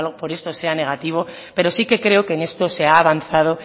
por esto sea negativo pero sí que creo que en esto se ha avanzado